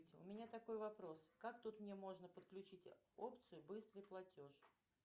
у меня такой вопрос как тут мне можно подключить опцию быстрый платеж